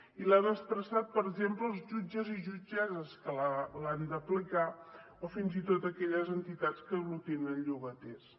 i l’han expressat per exemple els jutges i jutgesses que l’han d’aplicar o fins i tot aquelles entitats que aglutinen llogaters